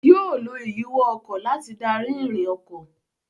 Yóò lo ìyíwọ́ ọkọ̀ láti darí ìrìn ọkọ̀.